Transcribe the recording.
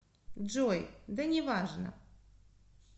джой да неважно